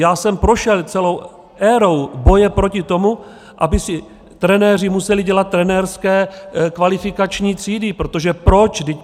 Já jsem prošel celou érou boje proti tomu, aby si trenéři museli dělat trenérské kvalifikační třídy - protože proč?